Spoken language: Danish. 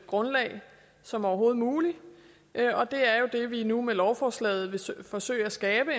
grundlag som overhovedet muligt og det er jo det vi nu med lovforslaget vil forsøge at skabe